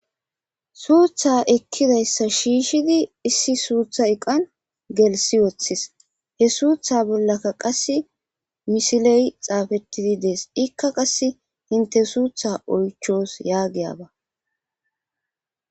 suutha ekkidayssa shiishidi issi suutha iqan gelsi wooththis he suutha bollaka qass misiley xaafettidi dees ikka qas hinte suutha oychoos yaagiyaba